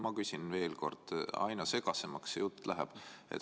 Ma küsin veel kord, sest aina segasemaks see jutt läheb.